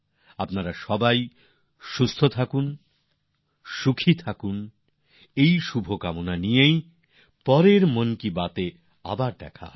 আপনারা সুস্থ থাকুন সুখী থাকুন এই শুভকামনার সঙ্গে পরের বারের মনের কথায় আবার মিলিত হওয়ার আকাঙ্খায়